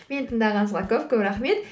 мені тыңдағаныңызға көп көп рахмет